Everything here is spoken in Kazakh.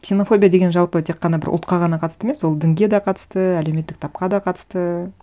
ксенофобия деген жалпы тек қана бір ұлтқа ғана қатысты емес ол дінге де қатысты әлеуметтік тапқа да қатысты